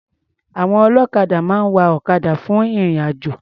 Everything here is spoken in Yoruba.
Àwọn ọlọ́kadà máa ń wa ọ̀kadà fún ìrìn-àjò.